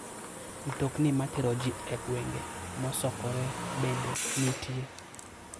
Mtokni matero ji e gwenge mosokore bende nitie.